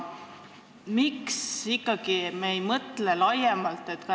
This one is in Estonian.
Miks me ei mõtle laiemalt?